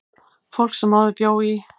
Fólk sem áður bjó í